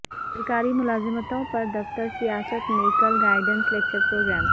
سرکاری ملازمتوں پر دفتر سیاست میں کل گائیڈنس لکچر پروگرام